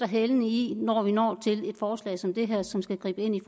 hælene i når vi når til et forslag som det her som skal gribe ind i